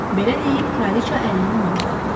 Belə deyib kraliça əlini ona uzatdı.